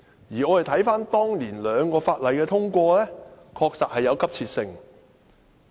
而我們看看當年兩項法例的通過，確實有急切性。